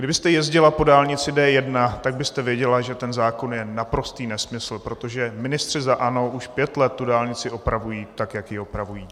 Kdybyste jezdila po dálnici D1, tak byste věděla, že ten zákon je naprostý nesmysl, protože ministři za ANO už pět let tu dálnici opravují, tak jak ji opravují.